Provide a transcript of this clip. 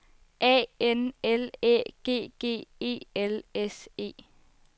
A N L Æ G G E L S E